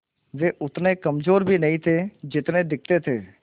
वे उतने कमज़ोर भी नहीं थे जितने दिखते थे